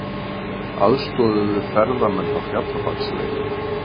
Aðstoðuðu ferðamenn á Fjallabaksleið